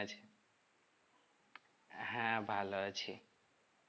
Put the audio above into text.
হ্যাঁ ভালো আছি